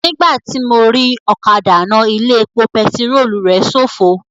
Nígbàtí mo rí ọ̀kadà náà, ilé epo pẹtirólù rẹ̀ ṣófo